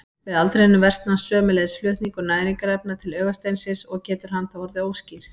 Með aldrinum versnar sömuleiðis flutningur næringarefna til augasteinsins og getur hann þá orðið óskýr.